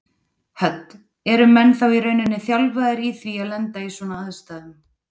Hödd: Eru menn þá í rauninni þjálfaðir í því að lenda í svona aðstæðum?